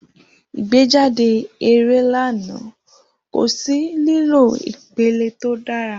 Igbejade eré lana, ko si lilo ipele to dara.